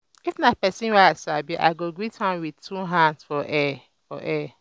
if na pesin wey i sabi i go greet am wit two hands for air for air